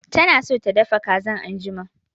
Tana so ta dafa kazan anjima